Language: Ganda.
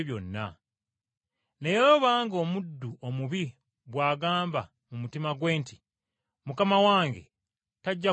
Naye obanga omuddu omubi bw’agamba mu mutima gwe nti, ‘Mukama wange tajja kudda mangu,’